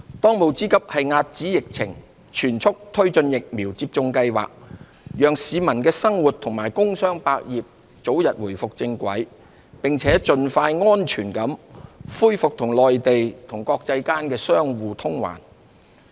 當務之急是遏止疫情，全速推進疫苗接種計劃，讓市民生活和工商百業早日重回正軌，並盡快安全地恢復與內地及國際間的相互往還。